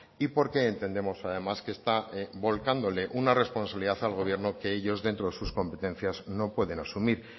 y porque entendemos además que está volcándole una responsabilidad al gobierno que ellos dentro de sus competencias no pueden asumir